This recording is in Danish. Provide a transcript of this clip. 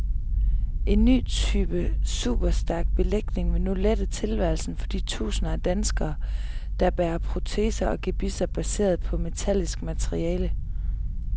En ny type superstærk belægning vil nu lette tilværelsen for de tusinder af danskere, der bærer proteser og gebisser baseret på metallisk materiale.